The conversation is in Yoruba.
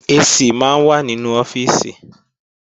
AC máa ń wà nínú ọ́fíìsì